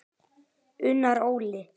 Unnar Óli.